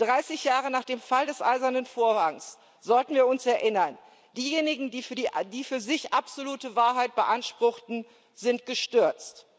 Dreißig Jahre nach dem Fall des Eisernen Vorhangs sollten wir uns erinnern Diejenigen, die für sich absolute Wahrheit beanspruchten, sind gestürzt.